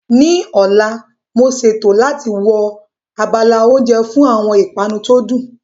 Ní ọ̀la, mo ṣètò láti wo abala oúnjẹ fún àwọn ìpanu tó dùn